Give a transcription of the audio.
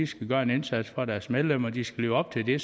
skal gøre en indsats for deres medlemmer de skal leve op til det